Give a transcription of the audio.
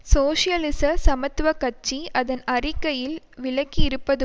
சோசியலிச சமத்துவ கட்சி அதன் அறிக்கையில் விளக்கியிருப்பது